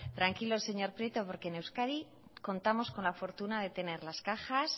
tranquilo señor prieto porque en euskadi contamos con la fortuna de tener las cajas